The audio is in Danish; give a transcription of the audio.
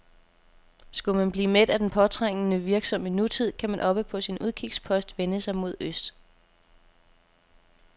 Skulle man blive mæt af den påtrængende, virksomme nutid, kan man oppe på sin udkigspost vende sig mod øst.